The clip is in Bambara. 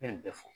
Ne ye nin bɛɛ fɔ